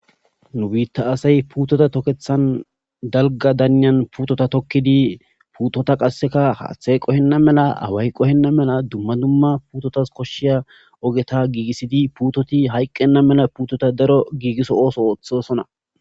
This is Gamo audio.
nu biitta asay putota tokethan dalga daniyan puutota tokkidi puutota qasseka haaththay qohenna mela away qohenna mela dumma dumma puutotas koshshiya ogeta giigissidi puutoti hayqqenna mela puutota daro giigiso ooso ooththosona